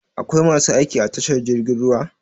Akwai masu aiki a tashar jirgin ruwa?